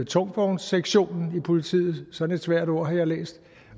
tungvognssektionen i politiet sådan et svært ord har jeg læst